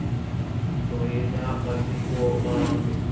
tloyila ta matiko mambe